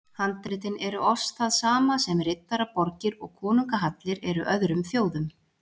Handritin eru oss það sama sem riddaraborgir og konungahallir eru öðrum þjóðum.